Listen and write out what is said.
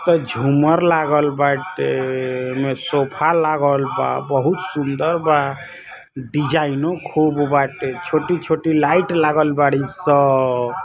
त झूमर लागल बाटे ओमे सोफा लागल बा बहुत सुंदर बा। डिज़ाइनो खूब बाटे छोटी-छोटी लाइट लागल बाड़ी सन।